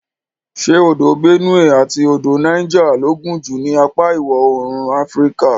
Ṣé odò Benue àti odò Niger ló gùn jù ní apa iwọ̀oòrùn Áfíríkà.